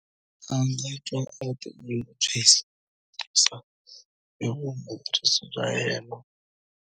A nga twa a tinyungubyisa hi vuhumeleri bya yena.